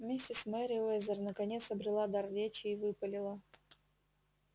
миссис мерриуэзер наконец обрела дар речи и выпалила